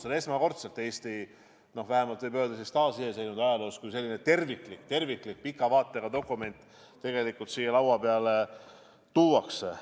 See on esmakordselt Eesti vähemalt taasiseseisvuse ajaloos, kui selline terviklik pika vaatega dokument siia laua peale tuuakse.